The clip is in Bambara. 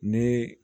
Ni